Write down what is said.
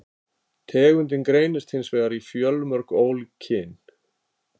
Tegundin greinist hins vegar í fjölmörg ólík kyn.